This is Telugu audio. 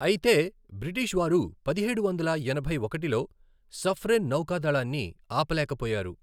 అయితే బ్రిటిష్ వారు పదిహేడు వందల ఎనభై ఒకటిలో సఫ్రెన్ నౌకాదళాన్ని ఆపలేకపోయారు.